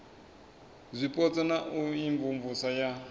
zwipotso na u imvumvusa ya